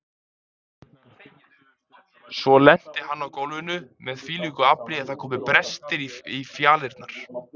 Svo lenti hann á gólfinu með þvílíku afli að það komu brestir í fjalirnar.